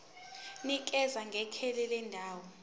nikeza ngekheli lendawo